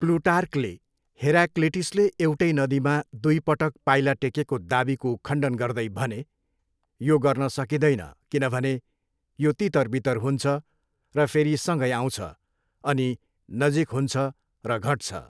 प्लुटार्कले हेराक्लिटसले एउटै नदीमा दुई पटक पाइला टेकेको दाबीको खण्डन गर्दै भने, यो गर्न सकिँदैन किनभने यो तितरबितर हुन्छ र फेरि सँगै आउँछ, अनि नजिक हुन्छ र घट्छ।